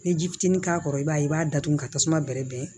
Ni ji fitinin k'a kɔrɔ i b'a ye i b'a datugu ka tasuma bɛrɛ bɛn